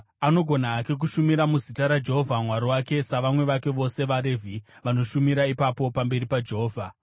anogona hake kushumira muzita raJehovha Mwari wake savamwe vake vose vaRevhi vanoshumira ipapo pamberi paJehovha.